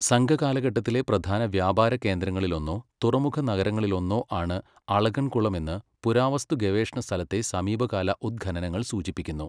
സംഘകാലഘട്ടത്തിലെ പ്രധാന വ്യാപാര കേന്ദ്രങ്ങളിലൊന്നോ തുറമുഖ നഗരങ്ങളിലൊന്നോ ആണ് അളഗൻകുളം എന്ന് പുരാവസ്തുഗവേഷണസ്ഥലത്തെ സമീപകാല ഉദ്ഖനനങ്ങൾ സൂചിപ്പിക്കുന്നു.